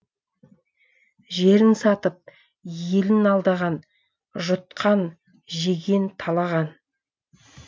жерін сатып елін алдаған жұтқан жеген талаған